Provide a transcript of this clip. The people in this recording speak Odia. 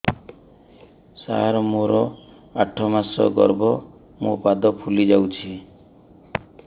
ସାର ମୋର ଆଠ ମାସ ଗର୍ଭ ମୋ ପାଦ ଫୁଲିଯାଉଛି